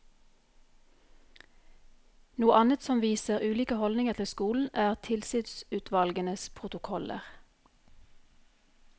Noe annet som viser ulike holdninger til skolen, er tilsynsutvalgenes protokoller.